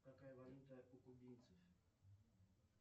какая валюта у кубинцев